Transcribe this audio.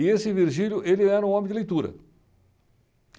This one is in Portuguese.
E esse Virgílio, ele era um homem de leitura.